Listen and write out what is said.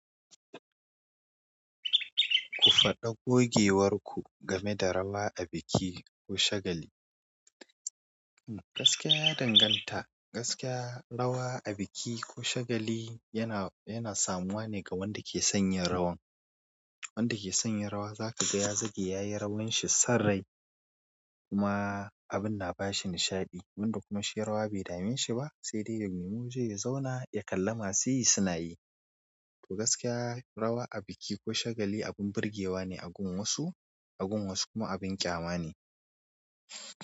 Ku faɗa gogewar ku game da rawa a biki ko shagali. Gaskiya ya danganta, gaskiya rawa a biki ko shagali yana, yana samuwa ne ga wanda ke son yin rawan. Wanda ke son yin rawa za kaga ya zage yayi rawan shi son rai kuma abin na bashi nishaɗi. Wanda kuma shi rawa bai dame shi ba sai dai ya nemi waje ya zauna ya kalla masu yi suna yi. Toh gaskiya rawa a biki ko shagali abin burgewa ne a gun wasu, a gun wasu kuma abin ƙyama ne.